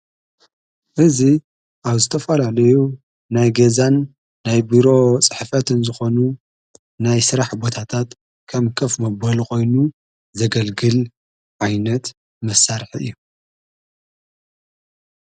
እዙይ ኣብ ዝተፋላልዩ ናይ ገዛን ናይ ቢሮ ጽሕፈትን ዝኾኑ ናይ ሥራሕ ቦታታት ከም ከፍ ምበሊ ኾይኑ ዘገልግል ዓይነት መሣርሕ እዩ።